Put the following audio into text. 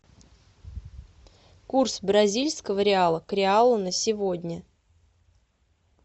курс бразильского реала к реалу на сегодня